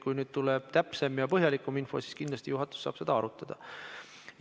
Kui nüüd tuleb täpsem ja põhjalikum info, siis kindlasti juhatus saab sedagi arutada.